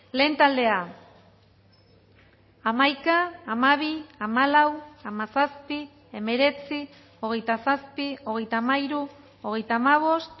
lehen taldea hamaika hamabi hamalau hamazazpi hemeretzi hogeita zazpi hogeita hamairu hogeita hamabost